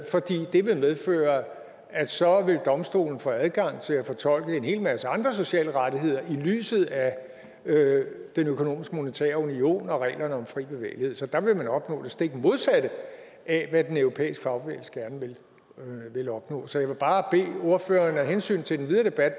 fordi det vil medføre at så vil domstolen få adgang til at fortolke en hel masse andre sociale rettigheder i lyset af den økonomiske og monetære union og reglerne om fri bevægelighed så der vil man opnå det stik modsatte af hvad den europæiske fagbevægelse gerne vil opnå så jeg vil bare af hensyn til den videre debat